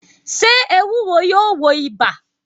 Sé ewúro yóò wo ibà?